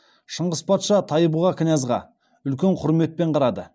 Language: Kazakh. шыңғыс патша тайбұға князға үлкен құрметпен қарады